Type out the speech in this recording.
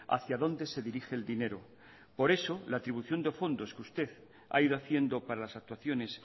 hacia dónde se dirige el dinero por eso la atribución de fondos que usted ha ido haciendo para las actuaciones